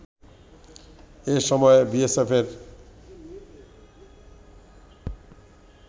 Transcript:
এ সময় বিএসএফয়ের